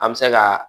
An bɛ se ka